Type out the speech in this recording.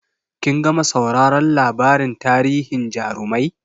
Kin gama sauraron labarin tarihin jarumai?